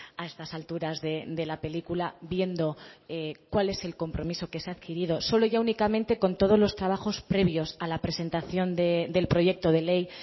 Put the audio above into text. a estas alturas de la película viendo cuál es el compromiso que se ha adquirido solo ya únicamente con todos los trabajos previos a la presentación del proyecto de ley